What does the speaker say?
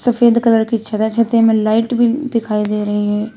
सफेद कलर की छत है छत में लाइट भी दिखाई दे रही हैं।